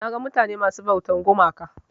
Naga mutane masu ɓautar gumaka.